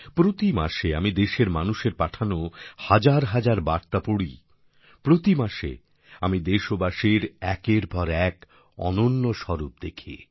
প্রতিমাসে আমি দেশের মানুষের পাঠানো হাজার হাজার বার্তা পড়ি প্রতিমাসে আমি দেশবাসীর একের পর এক অনন্য স্বরূপ দেখি